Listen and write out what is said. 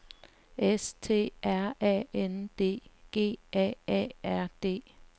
S T R A N D G A A R D